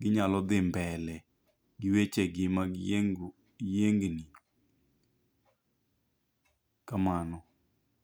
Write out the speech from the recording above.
ginyalo dhi mbele gi weche gi mag yiengruok yiengni. Kamano.